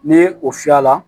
Ni o fiyɛ la